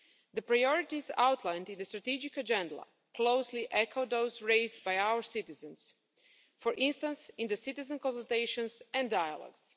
The priorities outlined in the strategic agenda closely echo those raised by our citizens, for instance in the citizen consultations and dialogues.